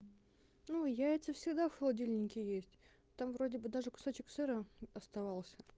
ну яйца всегда в холодильнике есть там вроде бы даже кусочек сыра оставался